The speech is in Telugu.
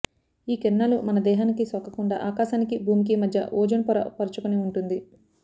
ఈ కిరణాలు మన దేహానికి సోకకుండా ఆకాశానికి భూమికి మధ్య ఓజోన్ పొర పరచుకొని ఉంటుంది